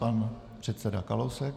Pan předseda Kalousek.